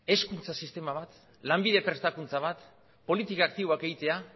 hezkuntza sistema bat lanbide prestakuntza bat politika aktiboak egitea